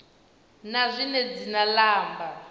na zwine dzina la amba